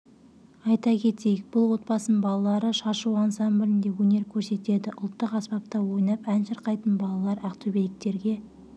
айта кетейік бұл отбасының балалары шашу ансамблінде өнер көрсетеді ұлттық аспапта ойнап ән шырқайтын балалар ақтөбеліктерге